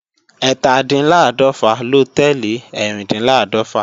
Ẹ́tàdínláàdọ̀fà ló tẹ́lẹ̀ Ẹ́rìndínláàdọ́fà